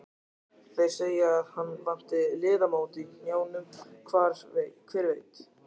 Þeir segja að hann vanti liðamót í hnjánum, hver veit?